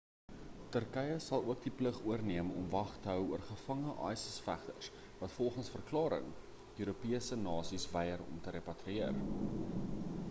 turkye sal ook die plig oorneem om wag te hou oor gevange isis vegters wat volgens die verklaring europese nasies wyer om te repatrieer